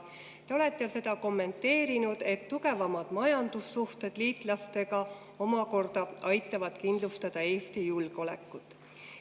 Te olete seda kommenteerinud nii, et tugevamad majandussuhted liitlastega aitavad kindlustada Eesti julgeolekut.